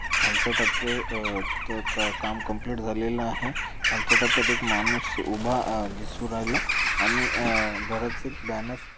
खालच्या टप्प्या अह त क काम कंप्लीट झालेला आहे खालच्या टप्प्यात एक माणूस उभा अह दिसू राहिला आणि अह घराचे बॅनर --